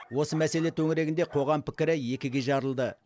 осы мәселе төңірегінде қоғам пікірі екіге жарылды